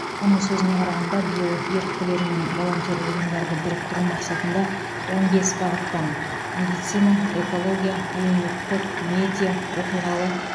оның сөзіне қарағанда биыл еріктілер мен волонтерлік ұйымдарды біріктіру мақсатында он бес бағыттан медицина экология әлеуметтік медиа оқиғалы